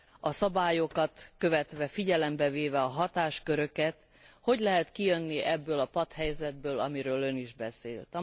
A szabályokat követve, figyelembe véve a hatásköröket, hogy lehet kijönni ebből a patthelyzetből, amiről Ön is beszélt.